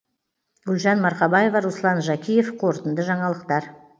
гүлжан марқабаева руслан жакиев қорытынды жаңалықтар